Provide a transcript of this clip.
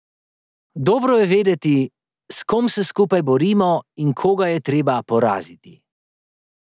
Dobro je vedeti, s kom se skupaj borimo in koga je treba poraziti.